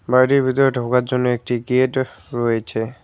বাড়ির ভিতরে ঢোকার জন্য একটি গেট রয়েছে।